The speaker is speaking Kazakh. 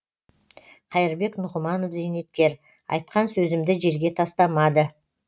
қайырбек нұғыманов зейнеткер айтқан сөзімді жерге тастамады